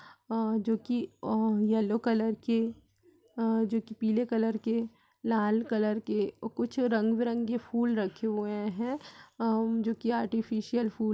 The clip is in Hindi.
आ जोकि अ येल्लो कलर की आ जोकि पीले कलर के लाल कलर के और कुछ रंग बीरंगे फूल रखे हुए हैं आ जोकि आटिफिशियल फूल --